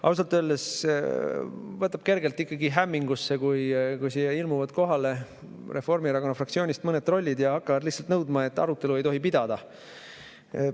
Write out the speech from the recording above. Ausalt öeldes ajab kergelt hämmingusse, kui siia ilmuvad Reformierakonna fraktsioonist kohale mõned trollid ja hakkavad lihtsalt nõudma, et arutelu ei tohi pidada.